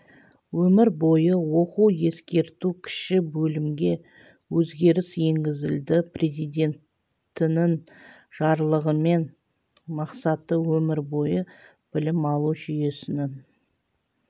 өмір бойы оқу ескерту кіші бөлімге өзгеріс енгізілді президентінің жарлығымен мақсаты өмір бойы білім алу жүйесінің